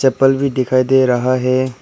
चप्पल भी दिखाई दे रहा है।